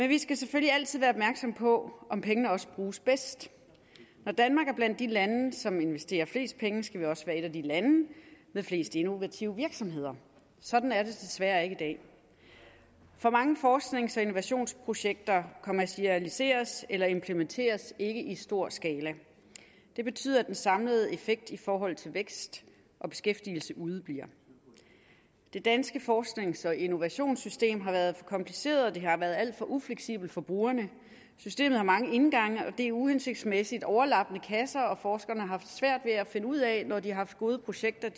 vi skal selvfølgelig altid være opmærksomme på om pengene også bruges bedst når danmark er blandt de lande som investerer flest penge skal vi også være et af de lande med flest innovative virksomheder sådan er det desværre ikke i dag for mange forsknings og innovationsprojekter kommercialiseres eller implementeres ikke i stor skala det betyder at den samlede effekt i forhold til vækst og beskæftigelse udebliver det danske forsknings og innovationssystem har været for kompliceret og det har været alt for ufleksibelt for brugerne systemet har mange indgange og det er uhensigtsmæssigt og overlappende kasser og forskerne har haft svært ved at finde ud af når de har haft gode projekter